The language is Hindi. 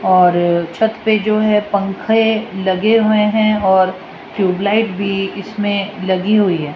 और छत पे जो है पंखे लगे हुए हैं और ट्यूबलाइट भी इसमें लगी हुई है।